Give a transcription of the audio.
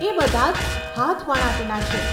એ બધાં જ હાથવણાટના છે.